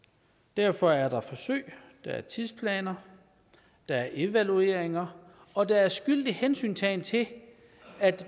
derfor er der forsøg der er tidsplaner der er evalueringer og der er skyldig hensyntagen til at